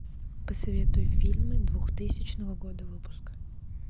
посоветуй фильмы двухтысячного года выпуска